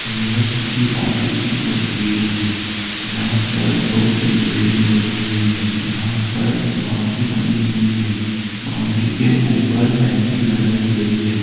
यहाँ किसी ऑफिस की तस्वीर है जहां पर दो तीन बिल्डिंग बनी हुई हैं यहां पर बाउंड्री बनी हुई हैं और फैंसिंग लगाई गई हैं।